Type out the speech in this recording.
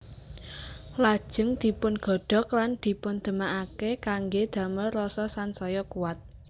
Lajeng dipungodhog lan dipundhemake kangge damel rasa sansaya kuwat